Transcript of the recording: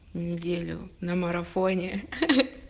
неделю на марафоне